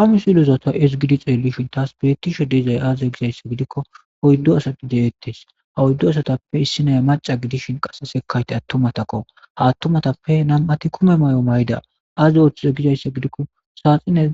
ha misilza ta ezigidi xeelishin taas biretishe deezay aaze gizayssa gidikko oyddo asapi de7ettes ha oyddu asatappe issinay maca gidishin qase sekayte attumatakko haattumatappe nam7ati kume may7o may7da aazi oththuze gizayssa gidikko saaxinen